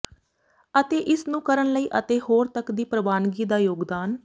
ਅਤੇ ਇਸ ਨੂੰ ਕਰਨ ਲਈ ਅਤੇ ਹੋਰ ਤੱਕ ਦੀ ਪ੍ਰਵਾਨਗੀ ਦਾ ਯੋਗਦਾਨ